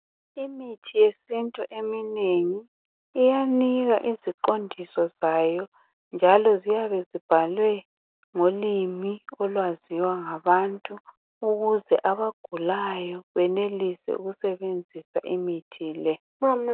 Imithi yesintu eminengi iyanika iziqondiso zayo njalo ziyabe zibhalwe ngolimi olwaziwa ngabantu ukuze abagulayo benelise ukusebenzisa imithi le.